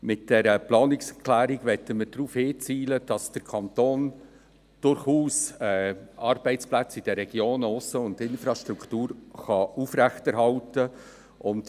Mit dieser Planungserklärung möchten darauf hinwirken, dass der Kanton Arbeitsplätze und Infrastruktur in den Regionen aufrechterhalten kann.